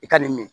I ka nin min